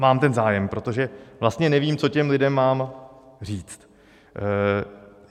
Mám ten zájem, protože vlastně nevím, co těm lidem mám říct.